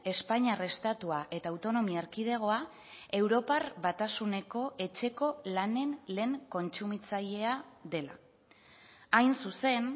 espainiar estatua eta autonomia erkidegoa europar batasuneko etxeko lanen lehen kontsumitzailea dela hain zuzen